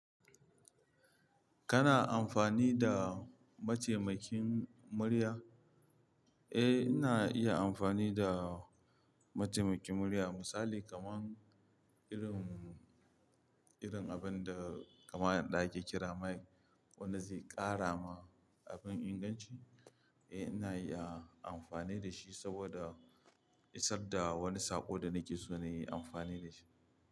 Kana amfani da mataimakin murya? Eh, ina iya amfani da mataimakin murya. Misali kaman irin, irin abin da kaman da ake kira mic wanda zai ƙara ma abin inganci. Eh ina iya amfani da shi saboda isar da wani saƙo da nake so na yi amfani da shi.